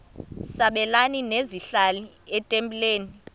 sabelani zenihlal etempileni